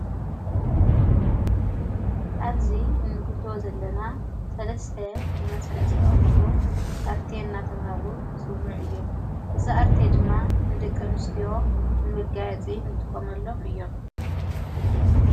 ኣብዚ እንግዞ ዘለና ሠለስ ብመሠርዕ ዝተቐሞጡ ኣርተ እናተብሃሉ ጽውዕ እዮም። እዛ ኣርተ ድማ ንደቀንስቲዎ ንምጋያጺ ንጥቆመሎም እዮም።